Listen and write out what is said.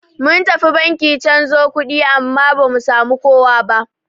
Mun tafi banki canzo kuɗi amma bamu samu kowa ba.